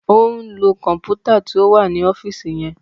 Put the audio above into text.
O n lo kọnputa tí o wá ọfiisi yẹn